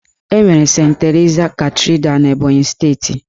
Enwere Sent Terisa Katidra n'Ebọnyị steeti.